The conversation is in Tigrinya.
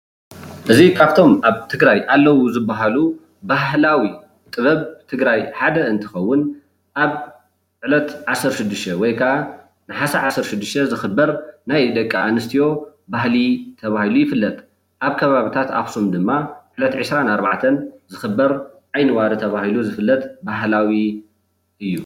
እዚ ካብቶም ኣብ ትግራይ ኣለው ካብ ዝባሃለሉ ባህላዊ ጥበብ ትግራይ ሓደ እንትከውን ኣብ ዕለት ዓሰርተ ሽድሸተ ወይ ከዓ ነሓሰ ዓሰርተ ሸድሽተ ዝክበር ናይ ናይ ደቂ ኣንስትዮ ባህሊ ተባሂሉ ይፍለጥ፣ ኣብ ከባቢታት ኣክሱም ድማ ዕለት ዒሰራን ኣርባዕተን ዝክበር ዓይኒ ዋሪ ተባሂሉ ዝፍለጥ ባህላዊ እዩ፡፡